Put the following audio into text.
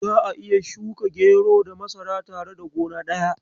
Za'a iya shuka gero da masara tare a gona daya.